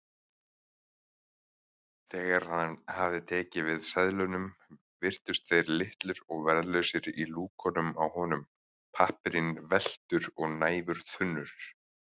Þegar hann hafði tekið við seðlunum virtust þeir litlir og verðlausir í lúkunum á honum, pappírinn velktur og næfurþunnur.